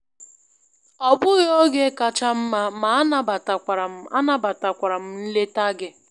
Ọ bụghị oge kacha mma, ma anabatakwara m anabatakwara m nleta gị.